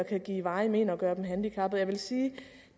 kan give varige men og gøre dem handicappet jeg vil sige